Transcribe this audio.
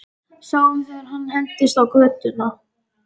Sáum þegar hann hentist í götuna.